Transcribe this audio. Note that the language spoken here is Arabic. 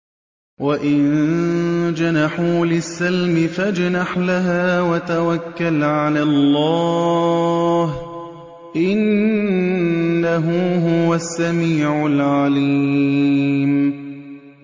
۞ وَإِن جَنَحُوا لِلسَّلْمِ فَاجْنَحْ لَهَا وَتَوَكَّلْ عَلَى اللَّهِ ۚ إِنَّهُ هُوَ السَّمِيعُ الْعَلِيمُ